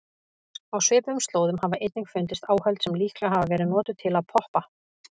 Á svipuðum slóðum hafa einnig fundist áhöld sem líklega hafa verið notuð til að poppa.